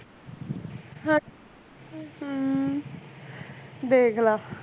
ਹਮ ਦੇਖ ਲੈ